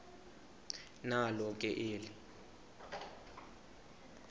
nalo ke eli